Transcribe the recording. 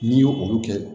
N'i y'o olu kɛ